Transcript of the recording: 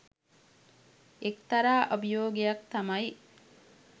එක්තරා අභියෝගයක් තමයි.